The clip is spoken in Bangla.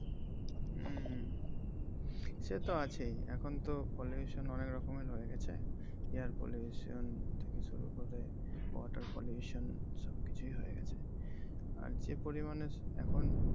হম সেতো আছেই, এখন তো pollution অনেক রকমের হয়ে গেছে গ্যাস pollution তারপরে water pollution সব কিছুই হয়ে গেছে । আর যে পরিমানে এখন